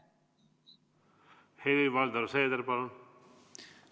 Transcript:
Helir-Valdor Seeder, palun!